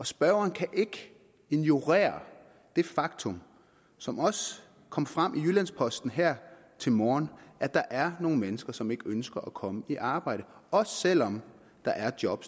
spørgeren kan ikke ignorere det faktum som også kom frem i jyllands posten her til morgen at der er nogle mennesker som ikke ønsker at komme i arbejde også selv om der er job